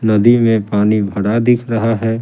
नदी में पानी भरा दिख रहा है ।